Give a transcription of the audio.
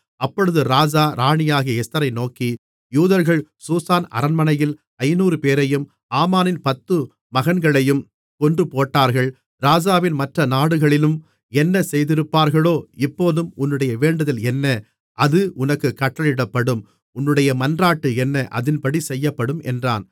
அப்பொழுது ராஜா ராணியாகிய எஸ்தரை நோக்கி யூதர்கள் சூசான் அரண்மனையில் ஐந்நூறுபேரையும் ஆமானின் பத்து மகன்களையும் கொன்றுபோட்டார்கள் ராஜாவின் மற்ற நாடுகளிலும் என்ன செய்திருப்பார்களோ இப்போதும் உன்னுடைய வேண்டுதல் என்ன அது உனக்குக் கட்டளையிடப்படும் உன்னுடைய மன்றாட்டு என்ன அதின்படி செய்யப்படும் என்றான்